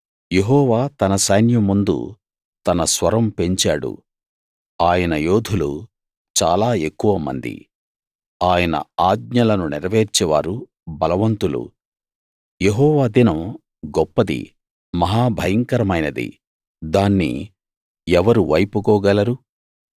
యెహోవా తన సైన్యం ముందు తన స్వరం పెంచాడు ఆయన యోధులు చాలా ఎక్కువమంది ఆయన ఆజ్ఞలను నెరవేర్చేవారు బలవంతులు యెహోవా దినం గొప్పది మహా భయంకరమైనది దాన్ని ఎవరు వైపుకోగలరు